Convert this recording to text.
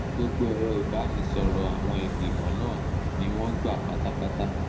gbogbo èrò ìbánisọ̀rọ̀ àwọn ìgbìmọ̀ náà ni wọ́n gbà pátápátá